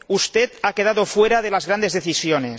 Usted ha quedado fuera de las grandes decisiones.